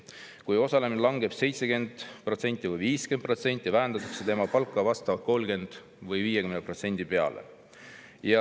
Kui osalemine langeb 70% või 50% peale, vähendatakse tema palka vastavalt kas 30% või 50%.